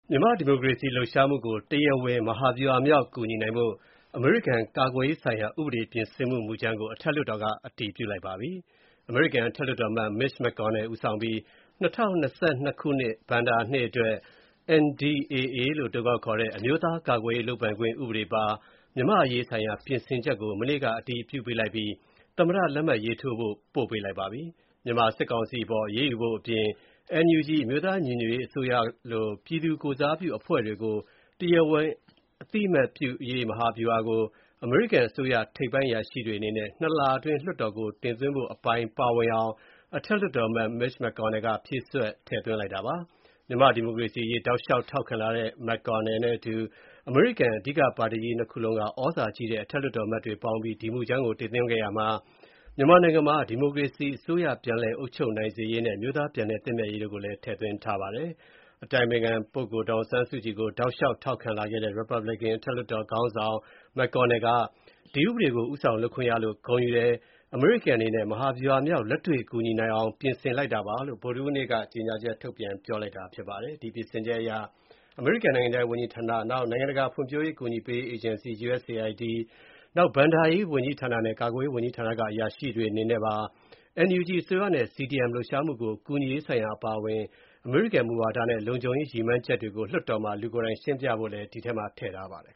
မြန်မာ့ဒီမိုကရေစီလူပ်ရှားမှုကို တရားဝင် မဟာဗျူဟာမြောက် ကူညီနိုင်ဖို့ အမေရိကန်ကာကွယ်ရေးဆိုင်ရာဥပဒေပြင်ဆင်မှု မူကြမ်းကို အထက်လွှတ်တော်က အတည်ပြုလိုက်ပါပြီ။ အမေရိကန်အထတ်လွှတ်တော်အမတ် Mitch McConnell ဦးဆောင်ပြီး ၂၀၂၂ ဘဏ္ဏာနှစ်အတွက် NDAA လို့အတိုကောက်ခေါ်တဲ့ အမျိုးသားကာကွယ်ရေးလုပ်ပိုင်ခွင့်ဥပဒေပါ မြန်မာ့အရေးဆိုင်ရာပြင်ဆင်ချက်ကို မနေ့က အတည်ပြုပေးလိုက်ပြီး သမ္မတလက်မှတ်ရေးထိုးဖို့ ပေးပို့လိုက်ပါပြီ။ မြန်မာစစ်ကောင်စီအပေါ်အရေးယူဖို့အပြင် NUG အမျိုူသားညီညွတ်ရေးအစိုးရလို ပြည်သူကိုယ်စားပြုအဖွဲ့တွေကို တရားဝင်အသိအမှတ်ပြုရေး မဟာဗျူဟာကို အမေရိကန်အစိုးရထိပ်ပိုင်းအရာရှိတွေအနေနဲ့ ၂ လအတွင်း လွှတ်တော်ကိုတင်သွင်းဖို့အပိုင်းပါဝင်အောင် အထက်လွှတ်အမတ် McConnell က ဖြည့်စွက်ထည့်သွင်းလိုက်တာပါ။ မြန်မာ့ဒီမိုကရေစီအရေးတောက်လျှောက်ထောက်ခံလာတဲ့ McConnell နဲ့အတူ အမေရိကန် အဓိကပါတီကြီး ၂ ခုလုံးက သြဇာကြီးတဲ့ အထက်လွှတ်တော်အမတ်တွေပေါင်းပြီး ဒီမူကြမ်းကို တင်သွင်းခဲ့ရာမှာ မြန်မာနိုင်ငံမှာ ဒီမိုကရေစီအစိုးရပြန်လည်အုပ်ချုပ်နိုင်စေရေးနဲ့ အမျိုးသားပြန်လည်သင့်မြတ်ရေးကိုလည်း ထည့်သွင်းထားပါတယ်။ အတိုင်ပင်ခံပုဂ္ဂိုလ် ဒေါ်အောင်ဆန်းစုကြည်ကို တောက်လျှောက်ထောက်ခံလာခဲ့တဲ့ ရီပတ်ဗလစ်ကန် အထက်လွှတ်တော် ခေါင်းဆောင် McConnel က ဒီဥပဒေကို ဦးဆောင်လုပ်ခွင့်ရလို့ ဂုဏ်ယူပါကြောင်းနဲ့ အမေရိကန်အနေနဲ့ မဟာဗျူဟာမြောက် လက်တွေ့ကူညီနိုင်အောင် ပြင်ဆင်လိုက်တာပါလို့ ဗုဒ္ဓဟူးနေ့က ကြေညာချက်ထုတ်ပြန်လိုက်တာဖြစ်ပါတယ်။ ဒီပြင်ဆင်ချက်အရ အမေရိကန် နိုင်ငံခြားရေးဝန်ကြီးဌာန၊ နိုင်ငံတကာဖွံ့ဖြိုးမှု အကူအညီပေးရေး အေဂျင်စီ USAID၊ နောက် ဘဏ္ဍာရေးနဲ့ ကာကွယ်ရေးဝန်ကြီးဌာန အရာရှိတွေအနေနဲ့ပါ NUG အစိုးရနဲ့ CDM လူပ်ရှားမူကိုကူညီရေးဆိုင်ရာအပါအဝင် အမေရိကန်မူဝါဒနဲ့လုံခြုံရေး ရည်မှန်းချက်တွေကို လွှတ်တော်မှာ လူကိုယ်တိုင် ရှင်းပြရဖို့လည်း ထည့်သွင်းထားပါတယ်။